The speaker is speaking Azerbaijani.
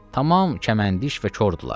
Tamam kəməndiş və kordular.